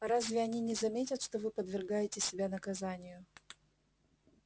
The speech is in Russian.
а разве они не заметят что вы подвергаете себя наказанию